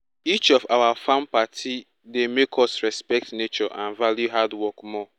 each of our farm party dey make us respect nature and value hard work more